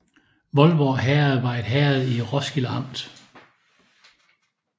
Voldborg Herred var et herred i Roskilde Amt